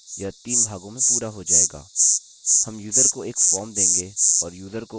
यह अधिक समय नहीं लेना चाहिए यह तीन भागों में पूरा हो जायेगा